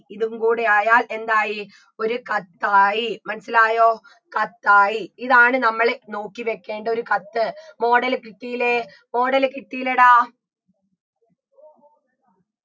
ഇതും കൂടയായാൽ എന്തായി ഒരു കത്തായി മനസ്സിലായോ കത്തായി ഇതാണ് നമ്മള് നോക്കി വെക്കേണ്ട ഒരു കത്ത് model കിട്ടീലേ model കിട്ടീലെടാ